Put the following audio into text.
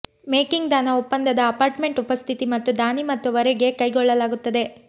making ದಾನ ಒಪ್ಪಂದದ apartment ಉಪಸ್ಥಿತಿ ಮತ್ತು ದಾನಿ ಮತ್ತು ವರೆಗೆ ಕೈಗೊಳ್ಳಲಾಗುತ್ತದೆ